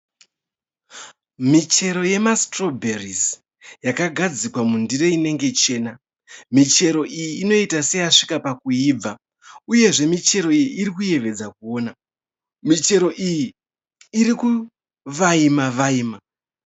Michero yema sitirobherisi yakagadzikwa mundiro inenge chena. Michero iyi inoita seyasvika pakuyibva uyezve michero iyi irikuyevedza kuona. Michero iyi irikuvaima-vaima.